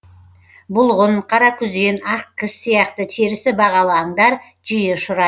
бұлғын қаракүзен ақкіс сияқты терісі бағалы аңдар жиі ұшырай